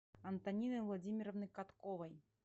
антонины владимировны катковой